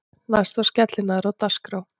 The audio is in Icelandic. Næst var skellinaðra á dagskrá.